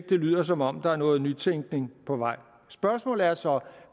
det lyder som om der er noget nytænkning på vej spørgsmålet er så